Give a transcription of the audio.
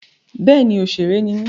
Bẹ́ẹ̀ni òṣèré ni mí.